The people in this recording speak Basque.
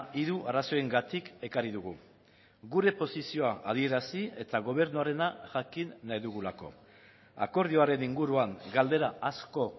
hiru arrazoiengatik ekarri dugu gure posizioa adierazi eta gobernuarena jakin nahi dugulako akordioaren inguruan galdera asko